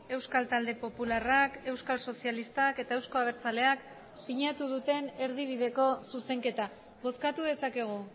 euskal talde popularrak euskal sozialistak eta euzko abertzaleak sinatu duten erdibideko zuzenketa bozkatu dezakegu